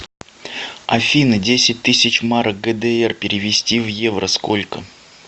афина десять тысяч марок гдр перевести в евро сколько